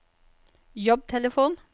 jobbtelefon